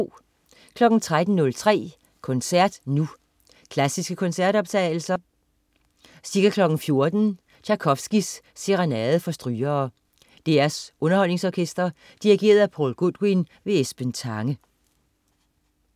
13.03 Koncert Nu. Klassiske koncertoptagelser. Ca. 14.00 Tjajkovskij: Serenade for strygere. DR Underholdningsorkestret. Dirigent: Paul Goodwin. Esben Tange